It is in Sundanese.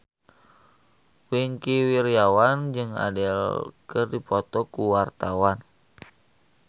Wingky Wiryawan jeung Adele keur dipoto ku wartawan